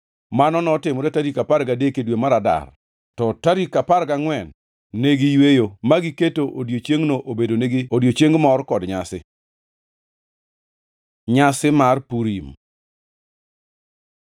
Mano notimore tarik apar gadek e dwe mar Adar, to tarik apar gangʼwen ne giyweyo ma giketo odiechiengno obedonegi odiechieng mor kod nyasi. Nyasi mar Purim